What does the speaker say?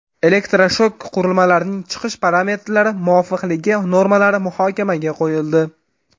Elektroshok qurilmalarining chiqish parametrlari muvofiqligi normalari muhokamaga qo‘yildi.